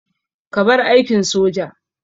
Ka bar aikin soja!